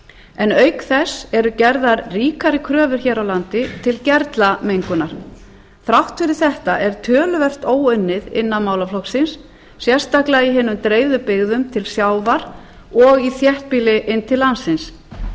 en auk þess eru gerðar ríkari kröfur hér á landi til gerlamengunar þrátt fyrir þetta er töluvert óunnið innan málaflokksins sérstaklega í hinum dreifðu byggðum til sjávar og í þéttbýli inn til landsins